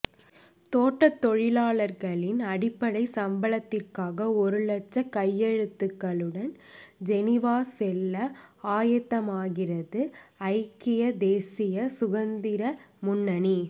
தோட்டத்தொழிலாளர்களின் அடிப்படை சம்பளத்திற்காக ஒரு லட்சம் கையெழுத்துக்களுடன் ஜெனிவா செல்ல ஆயத்தமாகிறது ஐக்கிய தேசிய சுதந்திர முன்னணி